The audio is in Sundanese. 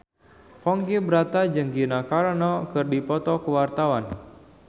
Ponky Brata jeung Gina Carano keur dipoto ku wartawan